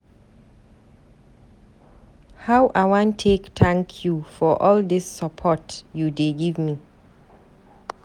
How I wan take thank you for all dis support you dey give me?